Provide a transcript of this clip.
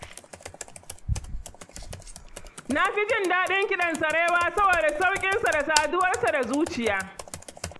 Na fi jin daɗin kiɗan sarewa saboda sauƙinsa da saduwarsa da zuciya.